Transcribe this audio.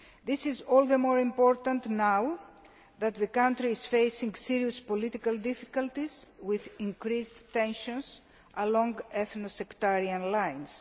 This is all the more important now, as the country is facing serious political difficulties with increased tensions along ethnic and sectarian lines.